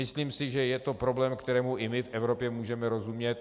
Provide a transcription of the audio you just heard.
Myslím si, že je to problém, kterému i my v Evropě můžeme rozumět.